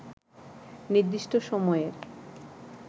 নির্দিষ্ট সময়ের